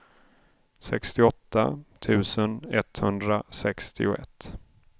sextioåtta tusen etthundrasextioett